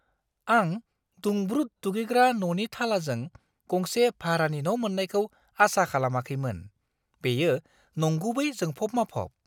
आं दुंब्रुद दुगैग्रा न'नि थालाजों गंसे भारानि न' मोन्नायखौ आसा खालामाखैमोन-बेयो नंगुबै जोंफब-माफब!